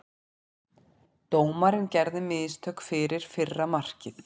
Dómarinn gerði mistök fyrir fyrra markið.